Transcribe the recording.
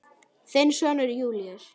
Þinn sonur Júlíus.